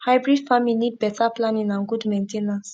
hybrid farming need better planning and good main ten ance